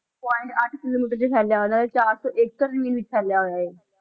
Point ਅੱਠ kilometre 'ਚ ਫੈਲਿਆ ਹੋਇਆ, ਚਾਰ ਸੌ ਏਕੜ ਜ਼ਮੀਨ ਵਿੱਚ ਫੈਲਿਆ ਹੋਇਆ ਇਹ।